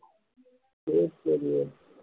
சரி சரி